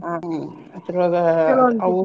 ಹ್ಮ್ ಅದ್ರೊಳಗ ಅವು.